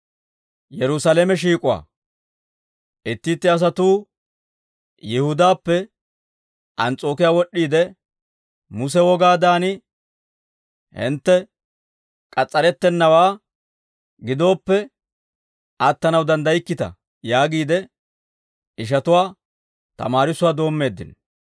Itti itti asatuu Yihudaappe Ans's'ookiyaa wod'd'iide, «Muse wogaadan, hintte k'as's'arettennawaa gidooppe, attanaw danddaykkita» yaagiide ishatuwaa tamaarissuwaa doommeeddino.